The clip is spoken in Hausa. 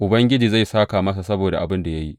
Ubangiji zai sāka masa saboda abin da ya yi.